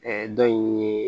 dɔ in ye